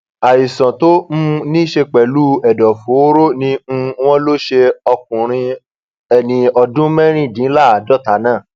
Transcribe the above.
àìsàn tó um ní í ṣe pẹlú ẹdọ fòòró ni um wọn lọ ṣe ọkùnrin ẹni ọdún mẹrìndínláàádọta náà